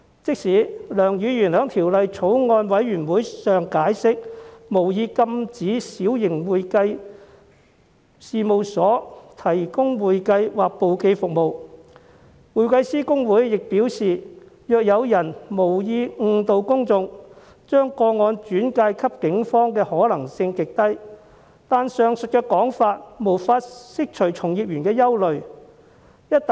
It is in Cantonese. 即使梁議員在相關法案委員會上解釋，他無意禁止小型會計事務所提供會計或簿記服務，公會又表示，將無意誤導公眾的個案轉介給警方的可能性極低，但都無法釋除從業員的憂慮。